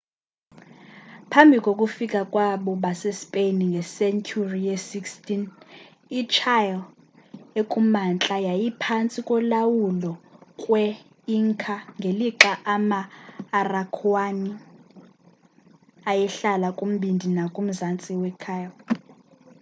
phambi kokufika kwabo base spain ngesenturi ye 16th ichile ekumantla yayiphansti kolawulo kwe inca ngelixa ama araucaniani mapuche ayehlala kumbindi nakumzantsi we chile